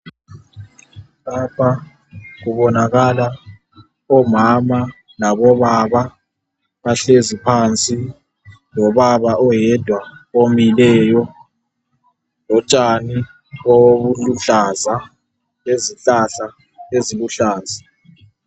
Lapha kubonakala omama labobaba. Bahlezi phansi lobaba oyedwa omileyo, lotshani obuluhlaza, lezihlahla eziluhlaza.